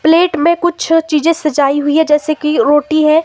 Plate में कुछ चीजें सजाई हुई है जैसे की रोटी है।